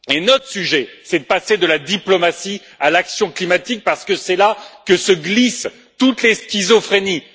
Notre sujet, c'est de passer de la diplomatie à l'action climatique parce que c'est là que se glissent toutes les schizophrénies.